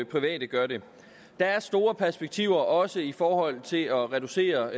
private gør det der er store perspektiver også i forhold til at reducere